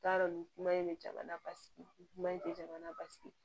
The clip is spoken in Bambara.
N t'a dɔn nin kuma in bɛ jamana basigi kuma in tɛ jamana basigi